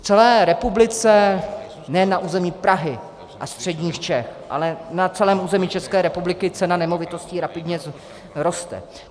V celé republice, nejen na území Prahy a středních Čech, ale na celém území České republiky cena nemovitostí rapidně roste.